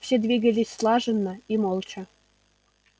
все двигались слаженно и молча